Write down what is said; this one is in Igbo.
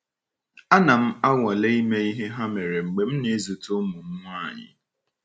Ana m anwale ime ihe ha mere mgbe m na -ezute ụmụ m nwanyị.